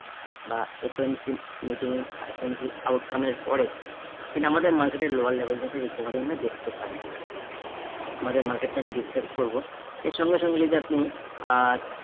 বা FMC meeting ah FMC outcome এর পরে সিনেমাটা market এর lower level থেকে recovery আমরা দেখতে পারি। আমাদের market টা আমি discuss করবো, এর সঙ্গে সঙ্গে যদি আপনি আহ